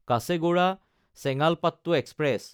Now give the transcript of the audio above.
কাছেগোডা–চেঙালপাটটো express